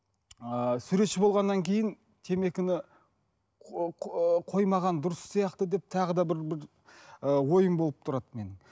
ыыы суретші болғаннан кейін темекіні қоймаған дұрыс сияқты деп тағы да бір бір ыыы ойым болып тұрады менің